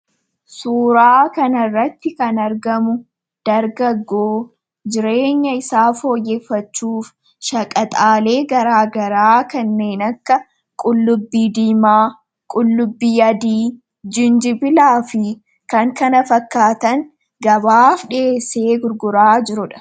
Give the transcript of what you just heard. suuraa kanarratti kan argamu dargaggoo jireenya isaa fooyyeffachuuf shagaxaalee garaagaraa kanneen akka qullubbii diimaa qullubbii adii jinjibilaa fi kan kana fakkaatan gabaaf dhiheessee gurguraa jiruudha.